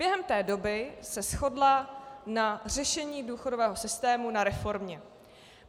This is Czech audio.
Během té doby se shodla na řešení důchodového systému, na reformě.